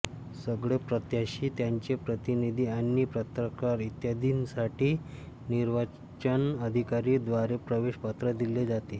सगळे प्रत्याशी त्यांचे प्रतिनिधि आणि पत्रकार इत्यादींसाठी निर्वाचन अधिकारी द्वारे प्रवेश पत्र दिले जाते